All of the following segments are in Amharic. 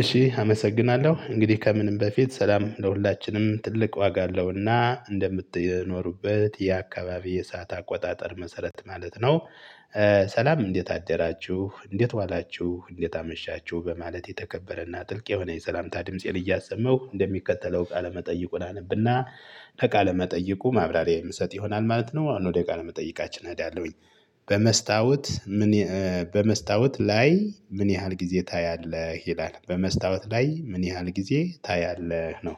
እሺ አመሰግናለሁ እንግዲህ ከምንም በፊት ሰላም ለሁላችንም ትልቅ ዋጋ አለውና እንደምትኖሩበት የአካባቢ የሰዓት አቆጣጠር መሰረት ማለት ነው። ሰላም እንዴት አደራችሁ እንዴት ዋላችሁ እንዴት አመሻችሁ በማለት የተከበረና ጥልቅ የሆነ የሰላምታ ድምፄን እያሰመሁ እንደሚከተለው ቃለመጠይቁን አነብና ለቃለ መጠይቁ ማብራሪያ የምሰጥ ይሆናል ማለት ነው። አሁን ወደ ቃለ መጠይቃችን እሄዳለሁኝ። በመስታወት ምን? በመስታወት ላይ ምን ያህል ጊዜ ታያለህ ይላል በመስታወት ላይ ምን ያህል ጊዜ ታያለህ ነው?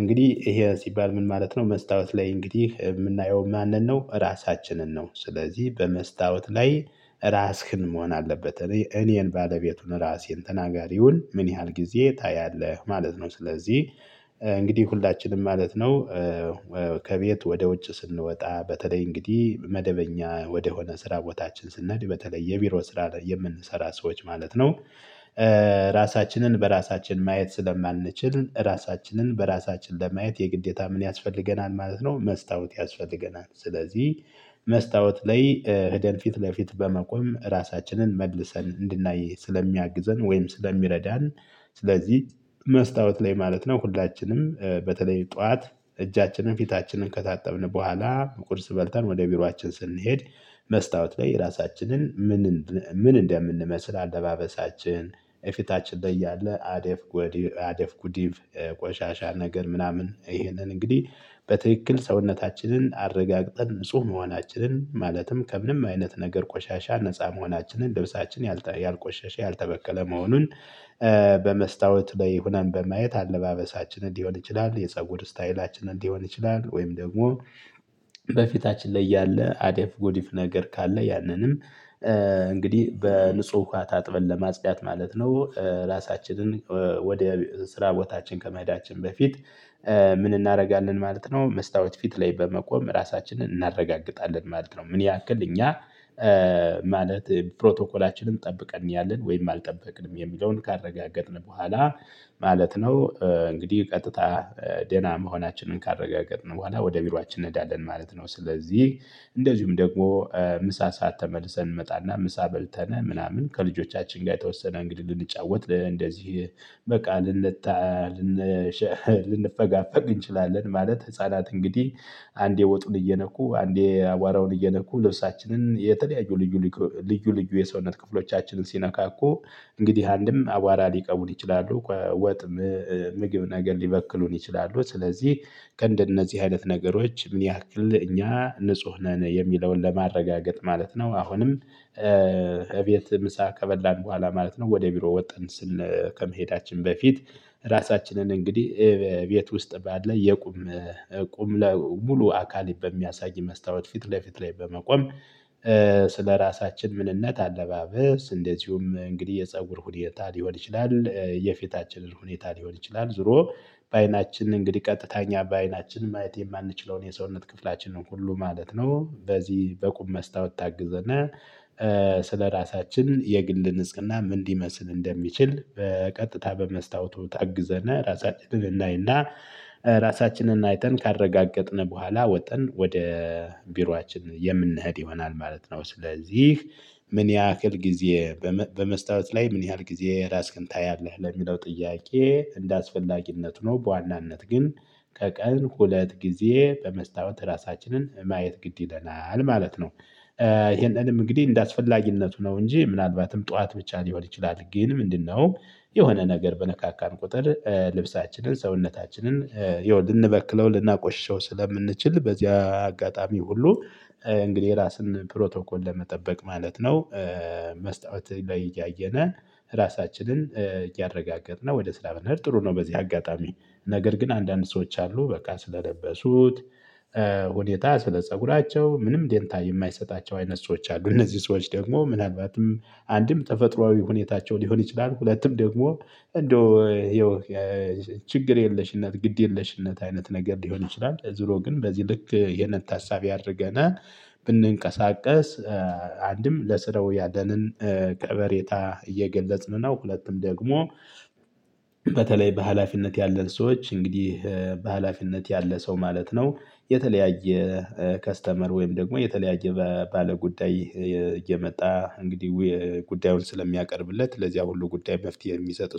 እንግዲህ ይሄ ሲባል ምን ማለት ነው መስታወት ላይ እንግዲህ የምናየው ማንንም ነው ራሳችንን ነው። ስለዚህ በመስታወት ላይ ራስህን መሆን አለበት እኔን ባለቤቱን ራሴን ተናጋሪውን ምን ያህል ጊዜ ታያለህ ማለት ነው። ስለዚህ እንግዲህ ሁላችንም ማለት ነው። ከቤት ወደ ውጭ ስንወጣ በተለይ እንግዲህ መደበኛ ወደሆነ ስራ ቦታችን ስንሄድ በተለይ የቢሮ ስራ ለምንሰራ ሰዎች ማለት ነው። ራሳችንን በራሳችን ማየት ስለማንችል ራሳችንን በራሳችን ለማየት የግዴታ ምን ያስፈልገናል ማለት ነው መስታወት ያስፈልገናል። ስለዚህ መስታወት ላይ በፊት ለፊት በመቆም ራሳችንን መልሰን እንድናይ ስለሚያግዘን ወይም ስለሚረዳን። ስለዚህ መስታወት ላይ ማለት ነው ሁላችንም በተለይ ጠዋት እጃችንን ፊታችንን ከታጠብን በኋላ ቁርስ በልተን ወደ ቢሯችን ስንሄድ። መስታወት ላይ ራሳችንን ምን ምን እንደምንመስል አለባበሳችን የፊታችን ላይ እያለ አደፍ ጎዲቭ አደፍ ጉዲቭ ቆሻሻ ነገር ምናምን ይሄንን እንግዲህ በትክክል ሰውነታችንን አረጋግጠን ንጹህ መሆናችንን ማለትም ከምንም አይነት ነገር ቆሻሻ ነፃ መሆናችንን ልብሳችን ያልቆሸሸ ያልተበከለ መሆኑን። በመስታወት ላይ ሆነን በማየት አለባበሳችንን ሊሆን ይችላል የፀጉር ስታይላችንን እንዲሆን ይችላል ወይም ደግሞ። በፊታችን ላይ ያለ አዴፍ ጎዲፍ ነገር ካለ ያንንም እንግዲህ በንጹህ ውሃ ታጥበን ለማጽዳት ማለት ነው። ራሳችንን ወደ ስራ ቦታችን ከመሄዳችን በፊት። ምን እናደርጋለን ማለት ነው መስታወት ፊት ላይ በመቆም ራሳችንን እናረጋግጣለን ማለት ነው። ምን ያክል እኛ ማለት ፕሮቶኮላችንን ጠብቀን እያለን ወይም አልጠበቅንም የሚለውን ካረጋገጥን በኋላ። ማለት ነው እንግዲህ ቀጥታ ደህና መሆናችንን ካረጋገጥን በኋላ ወደ ቢሯችን እንሄዳለን ማለት ነው። ስለዚህ እንደዚሁም ደግሞ ምሳ ሰዓት ተመልሰን እንመጣና ምሳ በልተነ ምናምን ከልጆቻችን ጋር የተወሰነ እንግዲህ ልንጫወት እንደዚህ በቃል ልንጣ ልንፈጋፈግ እንችላለን። ማለት ህፃናት እንግዲህ አንዴ ወጡን እየነኩ አንዴ አቧራውን እየነኩ ልብሳችንን የተለያዩ ልዩ ልዩ ልዩ የሰውነት ክፍሎቻችንን ሲነካኩ። እንግዲህ አንድም አቧራ ሊቀቡን ይችላሉ ወጥ ምግብ ነገር ሊበክሉን ይችላሉ። ስለዚህ ከእንደነዚህ አይነት ነገሮች ምን ያክል እኛ ንጹህ ነን የሚለውን ለማረጋገጥ ማለት ነው። አሁንም እቤት ምሳ ከበላን በኋላ ማለት ነው ወደ ቢሮ ወጥተን ስን ከመሄዳችን በፊት። ራሳችንን እንግዲህ ቤት ውስጥ ባለ የቁም ቁም ሙሉ አካል በሚያሳይ መስታወት ፊት ለፊት ላይ በመቆም። ስለራሳችን ምንነት አለባበስ እንደዚሁም እንግዲህ የፀጉር ሁኔታ ሊሆን ይችላል የፊታችንን ሁኔታ ሊሆን ይችላል ዞሮ በአይናችን እንግዲህ ቀጥታ እኛ በአይናችን ማለት የማንችለውን የሰውነት ክፍላችንን ሁሉ ማለት ነው። በዚህ በቁም መስታወት ታግዘን ስለራሳችን የግል ንጽህና ምን ሊመስል እንደሚችል በቀጥታ በመስታወቱ ታግዘን ራሳችንን እናይና። ራሳችንን አይተን ካረጋገጥን በኋላ ወጥተን ወደ ቢሯችን የምንሄድ ይሆናል ማለት ነው። ስለዚህ ምን ያህል ጊዜ በመስታወት ላይ ምን ያህል ጊዜ ራስህን ታያለህ ለሚለው ጥያቄ እንደአስፈላጊነት ሆኖ በዋናነት ግን በቀን ሁለት ጊዜ በመስታወት ራሳችንን ማየት ግድ ይለናል ማለት ነው። ይህንንም እንግዲህ እንደአስፈላጊነቱ ነው እንጂ ምናልባትም ጠዋት ብቻ ሊሆን ይችላል። ግን ምንድነው የሆነ ነገር በነካካን ቁጥር ልብሳችንን ሰውነታችንን ይኸው ልንበክለው ልናቆሽሸው ስለምንችል በዚያ አጋጣሚ ሁሉ እንግዲህ ራስን ፕሮቶኮል ለመጠበቅ ማለት ነው። መስታወት ላይ እያየነ ራሳችንን እያረጋገጥነ ወደ ስራ መሄድ ጥሩ ነው። በዚህ አጋጣሚ ነገር ግን አንዳንድ ሰዎች አሉ በቃ ስለለበሱት። ሁኔታ ስለ ፀጉራቸው ምንም ዴንታ የማይሰጣቸው አይነት ሰዎች አሉ እነዚህ ሰዎች ደግሞ ምናልባትም አንድም ተፈጥሮአዊ ሁኔታቸው ሊሆን ይችላል ሁለቱም ደግሞ እንደው ይኸው ችግር የለሽነት ግድ የለሽነት አይነት ነገር ሊሆን ይችላል። ዙሮ ግን በዚህ ልክ ይህን ታሳቢ አድርገን ብንቀሳቀስ አንድም ለስራው ያለንን ከበሬታ እየገለጽን ነው። ሁለትም ደግሞ በተለይ በሃላፊነት ያለን ሰዎች እንግዲህ በሃላፊነት ያለ ሰው ማለት ነው የተለያየ ከስተመር ወይም ደግሞ የተለያየ ባለጉዳይ እየመጣ እንግዲህ ጉዳዩን ስለሚያቀርብለት ለዚያ ሁሉ ጉዳይ መፍትሄ የሚሰጥ